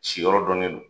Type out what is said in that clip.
Si yɔrɔ dɔnnen don